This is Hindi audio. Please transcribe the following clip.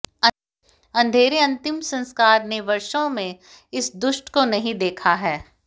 अंधेरे अंतिम संस्कार ने वर्षों में इस दुष्ट को नहीं देखा है